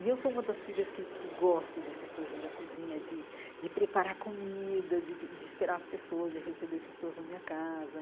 E eu sou uma das filhas que que gostam dessa coisa da cozinha, de de preparar comida, de de esperar as pessoas, de receber pessoas na minha casa.